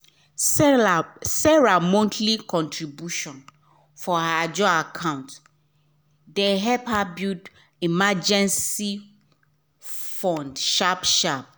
sarah monthly contribution for her ajo account de help her build emergency fund sharp-sharp